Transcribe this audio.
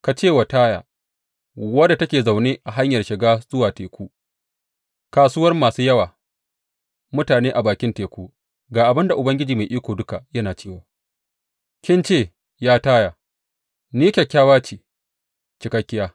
Ka ce wa Taya, wadda take zaune a hanyar shiga zuwa teku, kasuwar masu yawa mutane a bakin teku, Ga abin da Ubangiji Mai Iko Duka yana cewa, Kin ce, ya Taya, Ni kyakkyawa ce cikakkiya.